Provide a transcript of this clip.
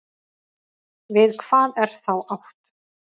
Við hvað er þá átt?